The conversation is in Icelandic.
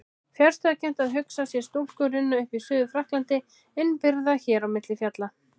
Fjarstæðukennt að hugsa sér stúlku runna upp í Suður-Frakklandi innibyrgða hér á milli fjalla.